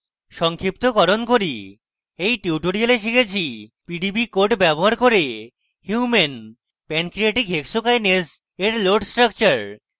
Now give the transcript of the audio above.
সংক্ষিপ্তকরণ করি এই tutorial শিখেছি পিডিবি code ব্যবহার করে human pancreatic hexokinase এর load structure